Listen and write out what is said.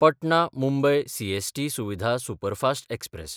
Patna-Mumbai CST Suvidha superfast express